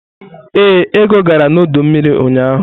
Ee, Ego gara n'ọdọ mmiri ụnyahụ.